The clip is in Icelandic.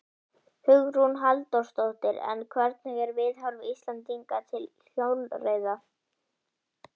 Hugrún Halldórsdóttir: En hvernig er viðhorf Íslendinga til hjólreiða?